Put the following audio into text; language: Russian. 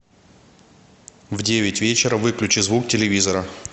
в девять вечера выключи звук телевизора